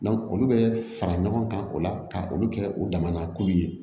olu bɛ fara ɲɔgɔn kan o la ka olu kɛ u dama na k'olu ye